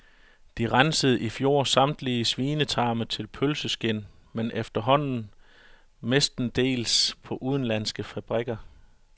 De rensede i fjor samtlige svinetarme til pølseskind, men efterhånden mestendels på udenlandske fabrikker.